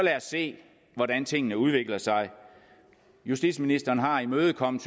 se hvordan tingene udvikler sig justitsministeren har imødekommet